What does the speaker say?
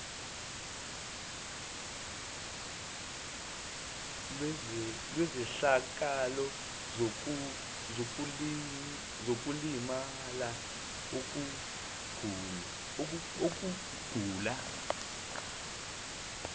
lwezehlakalo zokulimala ukugula